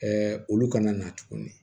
olu kana na tuguni